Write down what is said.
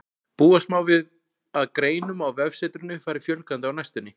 Búast má við að greinum á vefsetrinu fari fjölgandi á næstunni.